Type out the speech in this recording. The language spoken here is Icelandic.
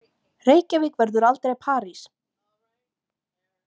Reykjavík verður aldrei París!